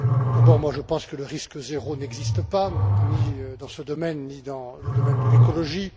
D'abord, je pense que le risque zéro n'existe pas, ni dans ce domaine, ni dans le domaine de l'écologie.